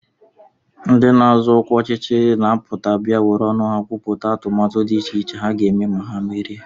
Ndị na-azọ ọkwa ọchịchị na-apụta bịa were ọnụ ha kwupụta atụmatụ dị iche iche ha ga-eme ma ha merie